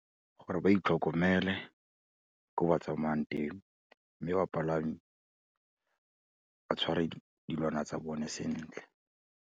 Gore ba itlhokomele ko ba tsamayang teng, mme bapalami, ba tshware dilwana tsa bone sentle.